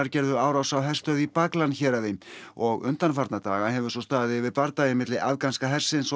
gerðu árás á herstöð í héraði og undanfarna daga hefur staðið yfir bardagi milli afganska hersins og